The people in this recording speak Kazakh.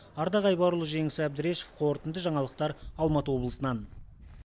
ардақ айбарұлы жеңіс әбдірешев қорытынды жаңалықтар алматы облысынан